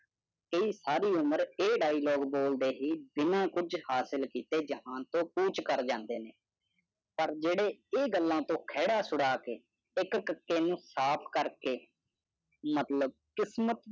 ਇਹ ਸਾਰੀ ਉਮਰ ਇਹ ਡਾਈਲੋਗ ਬੋਲਦੇ ਹੀ ਬਿੰਨਾਂ ਕੁਝ ਹਾਸਲ ਕੀਤੇ ਜਹਾਨ ਤੋਂ ਕੂਚ ਕਰ ਜਾਂਦੇ ਨੇ। ਪਰ ਜਿਹੜੇ ਇਹ ਗੱਲਾਂ ਤੋਂ ਖਹਿੜਾ ਛੁੜਾ ਕਿ ਇਕ ਨੂੰ ਸਾਫ ਕਰਕੇ ਮਤਲਬ ਕਿਸਮਤ